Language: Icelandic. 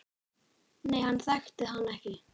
Nei, hann þekkti hann ekki.